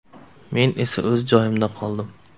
Men esa o‘z joyimda qoldim.